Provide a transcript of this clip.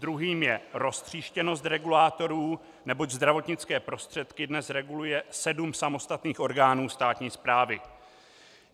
Druhým je roztříštěnost regulátorů, neboť zdravotnické prostředky dnes reguluje sedm samostatných orgánů státní správy.